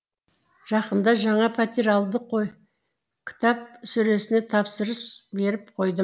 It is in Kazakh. жақында жаңа пәтер алдық қой кітап сөресіне тапсырыс беріп қойдым